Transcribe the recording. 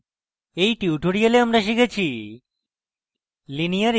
in tutorial আমরা শিখেছি :